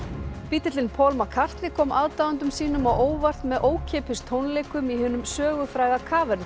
bítillinn Paul McCartney kom aðdáendum sínum á óvart með ókeypis tónleikum í hinum sögufræga